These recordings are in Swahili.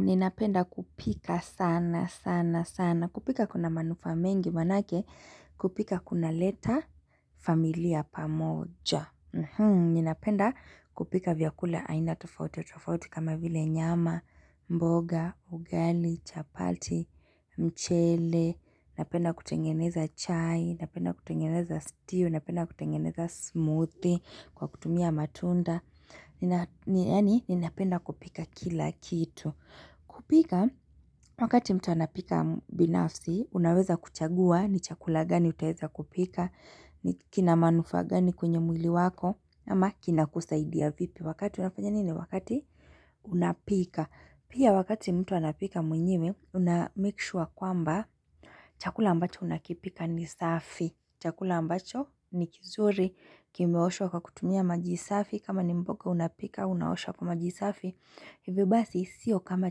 Ni napenda kupika sana sana sana. Kupika kuna manufaa mengi wanake. Kupika kuna leta familia pamoja. Ninapenda kupika vyakula aina tofauti. Kama vile nyama, mboga, ugali, chapati, mchele. Napenda kutengeneza chai, napenda kutengeneza stew, napenda kutengeneza smoothie kwa kutumia matunda ni yani, ninapenda kupika kila kitu kupika, wakati mtu anapika binafsi, unaweza kuchagua ni chakula gani utaweza kupika ni kinamanufa gani kwenye mwili wako, ama kinakusaidia vipi wakati unapika Pia wakati mtu anapika mwenyewe, unameki shua kwamba chakula ambacho unakipika ni safi. Chakula ambacho ni kizuri, kimeoshwa kwa kutumia maji safi, kama ni mboga unapika, unaosho kwa maji safi. Hivi basi, sio kama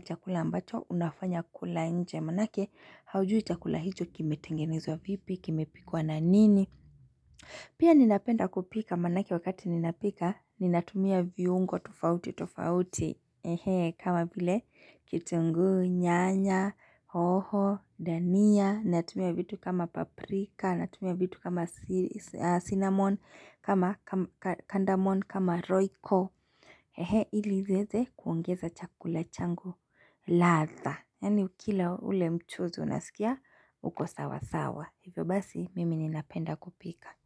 chakula ambacho, unafanya kula nje manake, haujui chakula hicho kimi tengenezwa vipi, kimepikwa na nini. Pia ninapenda kupika manake wakati ninapika, ninatumia viungo tofauti tofauti. Ehe kama vile kitunguu, nyanya, hoho, dania, natumia vitu kama paprika, natumia vitu kama cinnamon, kama kandamon, kama roiko Ehe ili zieze kuongeza chakula changu ladha Yani ukila ule mchuzi unasikia uko sawa sawa Hivyo basi mimi ni napenda kupika.